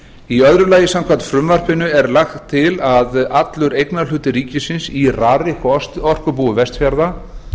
í öðru lagi er lagt til samkvæmt frumvarpinu að allur eignarhlutur ríkisins í rarik og orkubúi vestfjarða